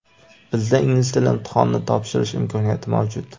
bizda ingliz tili imtihonini topshirish imkoniyati mavjud.